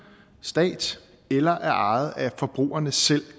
stat eller er ejet af forbrugerne selv